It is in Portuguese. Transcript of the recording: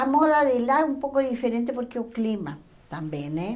A moda de lá é um pouco diferente porque o clima também, né?